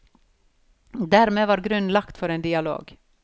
Dermed var grunnen lagt for en dialog.